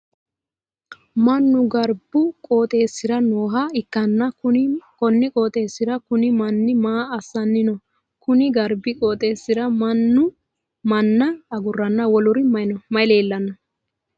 Mannu garbu qooxeesira nooha ikanna konni qooxeesira kunni manni maa asanni no? Konni garbi qooxeesira manna aguranna woluri mayi leelano?